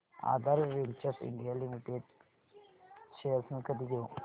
आधार ventures India limited shares मी कधी घेऊ